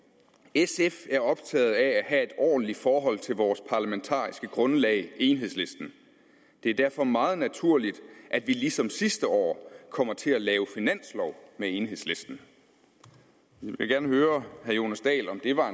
sf er optaget af at have et ordentligt forhold til vores parlamentariske grundlag enhedslisten det er derfor meget naturligt at vi ligesom sidste år kommer til at lave finanslov med enhedslisten jeg vil gerne høre herre jonas dahl om det var